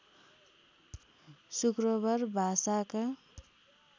शुक्रबार भाषाका